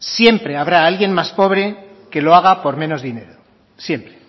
siempre habrá alguien más pobre que lo haga por menos dinero siempre